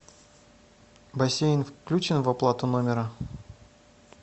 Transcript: бассейн включен в оплату номера